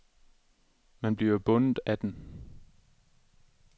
Man bliver jo bundet af den.